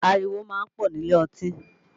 Ariwo máa ń pọ̀ nílé ọtí